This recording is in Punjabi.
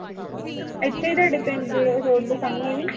ਇਥੇ ਹੀ ਤੁਹਾਡੇ ਪਿੰਡ road ਦੇ ਸਾਹਮਣੇ ਈ।